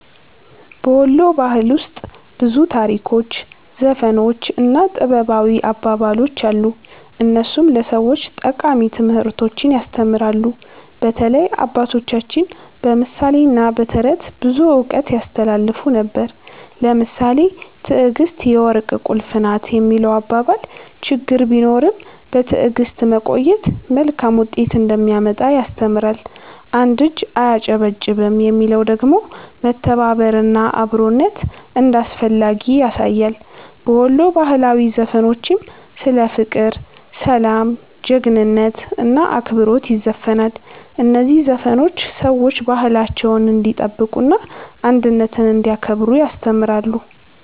በ ወሎ ባህል ውስጥ ብዙ ታሪኮች፣ ዘፈኖች እና ጥበባዊ አባባሎች አሉ፣ እነሱም ለሰዎች ጠቃሚ ትምህርቶችን ያስተምራሉ። በተለይ አባቶቻችን በምሳሌ እና በተረት ብዙ እውቀት ያስተላልፉ ነበር። ለምሳሌ “ትዕግስት የወርቅ ቁልፍ ናት” የሚለው አባባል ችግር ቢኖርም በትዕግስት መቆየት መልካም ውጤት እንደሚያመጣ ያስተምራል። “አንድ እጅ አያጨበጭብም” የሚለው ደግሞ መተባበር እና አብሮነት እንዳስፈላጊ ያሳያል። በወሎ ባህላዊ ዘፈኖችም ስለ ፍቅር፣ ሰላም፣ ጀግንነት እና አክብሮት ይዘፈናል። እነዚህ ዘፈኖች ሰዎች ባህላቸውን እንዲጠብቁ እና አንድነትን እንዲያከብሩ ያስተምራሉ።